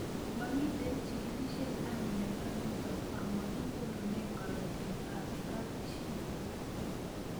Mamito chig'ilishet ab miondo nitok ama makinyorunee karatik ab kapchii